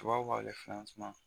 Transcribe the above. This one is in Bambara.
Tubabu b'a kɛ